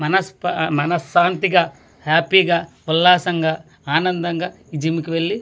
మానస్ మన శాంతిగా హ్యాపీగా గా ఉల్లాసంగా ఆనందంగా జిమ్ కు వెళ్ళి .]